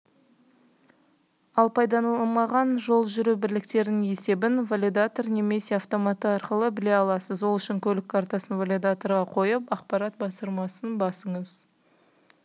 ал пайдаланылмаған жол жүру бірліктерінің есебін валидатор немесе автоматтары арқылы біле аласыз ол үшін көлік картасын валидаторға қойып ақпарат батырмасын бассаңыз